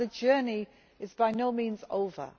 The journey is by no means over.